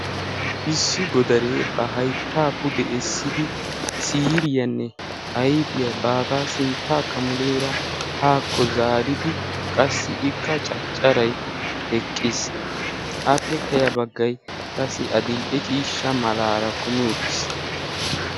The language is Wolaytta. issi godaree ba haittaa pude essidi siiriyaanne aifiyaa baagaa sinttaa kamuleera haakko zaaridi qassi ikka caccarai eqqiis .apekkaya baggai qassi adil77e ciishsha malaara kumi uttiis.